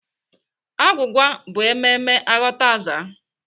Agwụgwa bụ emume aghọtaaza.